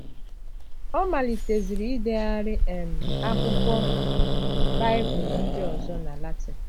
Ọ maliteziri idegharị um akwụkwọ Baịbụl ndị ọzọ na Latịn.